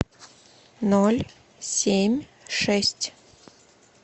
ноль семь шесть